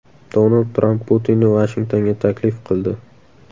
Donald Tramp Putinni Vashingtonga taklif qildi.